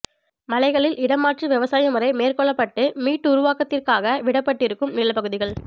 மலைகளில் இடம் மாற்று விவசாய முறை மேற்கொள்ளப்பட்டு மீட்டுருவாக்கத்திற்காக விஅடப்பட்டிருக்கும் நிலப்பகுதிகள்